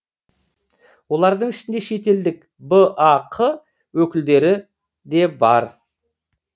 олардың ішінде шетелдік бақ өкілдері де бар